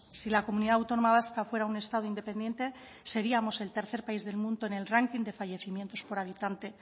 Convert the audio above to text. si la comunidad autónoma vasca fuera un estado independiente seríamos el tercer país del mundo en el ranking de fallecimientos por habitante